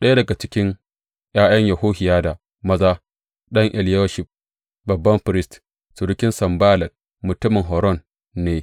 Ɗaya daga cikin ’ya’yan Yohiyada maza, ɗan Eliyashib babban firist, surukin Sanballat mutumin Horon ne.